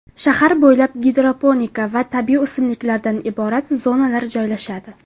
Shahar bo‘ylab gidroponika va tabiiy o‘simliklardan iborat zonalar joylashadi.